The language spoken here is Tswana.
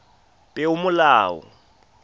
peomolao